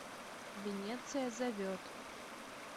венеция зовет